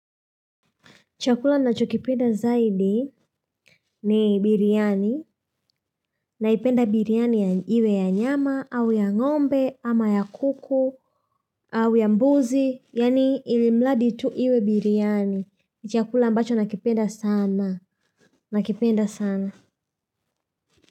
Chakula nachokipenda zaidi ni biriani naipenda biriani iwe ya nyama au ya ngombe ama ya kuku au ya mbuzi yaani ili mradi tu iwe biriani. Chakula ambacho nakipenda sana. Nakipenda sana.